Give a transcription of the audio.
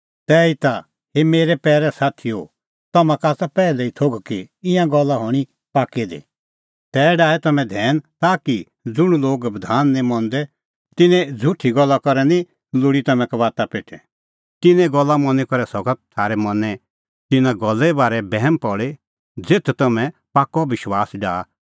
तैहीता हे पैरै साथीओ तम्हां का आसा पैहलै ई थोघ कि ईंयां गल्ला हणीं पाक्कै दी तै डाहै तम्हैं धैन ताकि ज़ुंण लोग बधान निं मंदै तिन्नें झ़ुठी गल्ला करै निं लोल़ी तम्हैं कबाता पेठै तिन्नें गल्ला मनी करै सका थारै मनैं तिन्नां गल्ले बारै बैहम पल़ी ज़ेथ तम्हैं पाक्कअ विश्वास डाहा